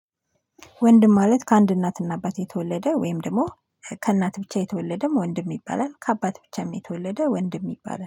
ወንድም ማለት ከአንድ እናትና አባት የተወለደ ወይም ደግሞ ከእናት ብቻ የተወለደም ወንድም ይባላል ከአባት ብቻም የተወለደ ወንድም ይባለል